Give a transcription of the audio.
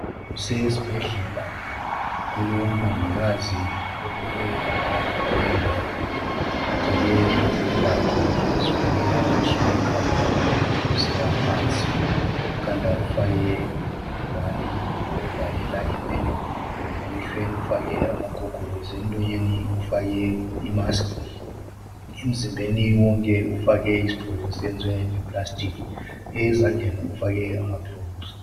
Kusesibhedlela kulomongikazi omileyo phakathi kwalendawo ugqoke izembatho zokuzivikela kuseka ekhanda kusiyaphansi. Ekhanda ufake ingwane yokuzivikela inwele, emehlweni ufake amagogorosi, emlonyeni ufake imask, emzimbeni wonke ufake isigqoko esenziwe ngeplastic, ezandleni ufake amagilovisi.